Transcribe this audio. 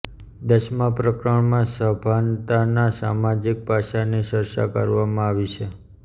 દશમા પ્રકરણમાં સભાનતાનાં સામાજિક પાસાની ચર્ચા કરવામાં આવી છે